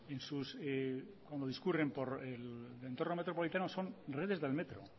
en sus como discurren por entorno metropolitano son redes del metro